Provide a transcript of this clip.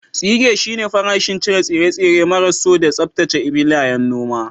Tsige shine farashin cire tsire-tsire maras so da tsaftace filayen noma.